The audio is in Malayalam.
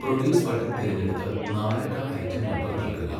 പ്രൊഡ്യൂസ് ബട്ടൺ തിരഞ്ഞെടുത്ത് നാലക്ക ഐറ്റം നമ്പർ നൽകുക.